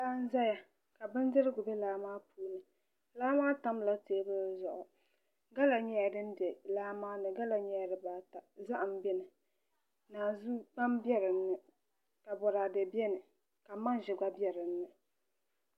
Laa n ʒɛya ka bindirigu bɛ laa maa ni laa maa tamla teebuli zuɣu gala nyɛla din bɛ laa maa ni dibbata zaham bɛni kpam bɛni ka boraadɛ bɛni ka manʒa gba bɛ dinni